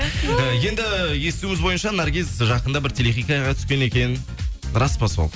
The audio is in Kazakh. енді естуіміз бойынша наргиз жақында бір телехикаяға түскен екен рас па сол